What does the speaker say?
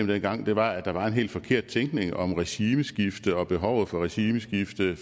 dengang var at der var en helt forkert tænkning om regimeskifte og behovet for regimeskifte